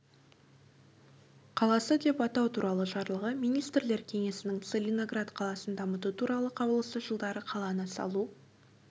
қаласы деп атау туралы жарлығы министрлер кеңесінің целиноград қаласын дамыту туралы қаулысы жылдары қаланы салу